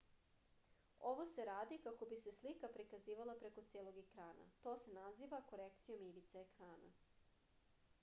ovo se radi kako bi se slika prikazivala preko celog ekrana to se naziva korekcijom ivice ekrana